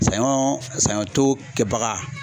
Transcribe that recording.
Sanɲɔ sanɲɔ to kɛbaga.